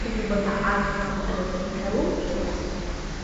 ፍሉይ ቦታ ኣብ ከተማ መቐለ ዝርከቡ እዮም።